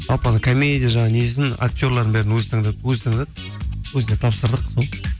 жалпы анау комедия жағын несін актерларын бәрін өзі таңдады өзіне тапсырдық сол